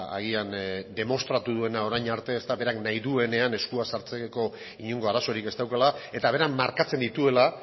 agian demostratu duena orain arte berak nahi duenean eskua sartzeko inongo arazorik ez daukala eta berak markatzen dituela